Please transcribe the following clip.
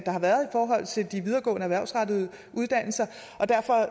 har været i forhold til de videregående erhvervsrettede uddannelser og derfor